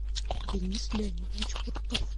денис леонидович пуртов